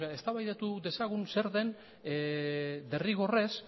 eztabaidatu dezagun zer den derrigorrez